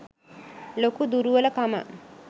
ලොකු දුරුවල කමක්.